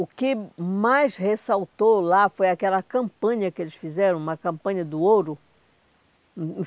O que mais ressaltou lá foi aquela campanha que eles fizeram, uma campanha do ouro.